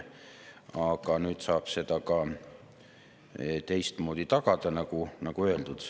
Aga nüüd saab seda ka teistmoodi tagada, nagu öeldud.